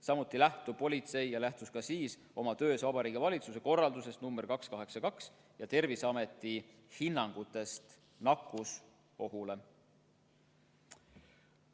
Samuti lähtub politsei ja lähtus ka siis oma töös Vabariigi Valitsuse korraldusest nr 282 ja Terviseameti hinnangutest nakkusohu kohta.